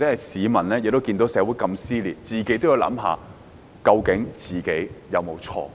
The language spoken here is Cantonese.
市民看到社會這麼撕裂時，也應自行思考，究竟自己有沒有錯。